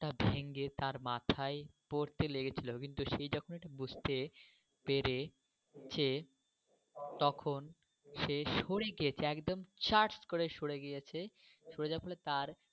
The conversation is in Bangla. ভেঙে তার মাথায় পড়তে লেগেছিলো কিন্তু সে যখন এটা বুঝতে পেরেছে তখন সে সরে গিয়েছে একদম স্যাট করে সরে গিয়েছে সরে যাওয়ার ফলে তার।